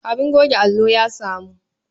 Abin goge allo ya samu.